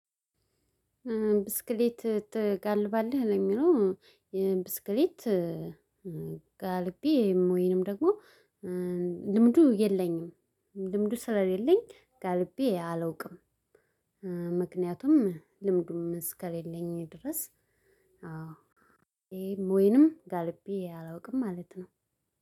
ብስክሌት ትጋልባለህ ለሚለው? የብስክሌት ጋልቤ ወይንም ደግሞ ልምዱ የለኝም። ልምዱ ስለሌለኝ ጋልቤ አላውቅም። ምክንያቱም ልምዱም እስከሌለኝ ድረስ። አዎ ይሄም ወይንም ጋልቤ አላውቅም ማለት ነው።